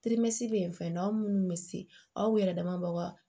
bɛ yen fɛ aw minnu bɛ se aw yɛrɛ dama b'a